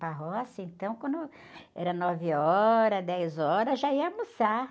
Para roça, então, quando era nove horas, dez horas, já ia almoçar.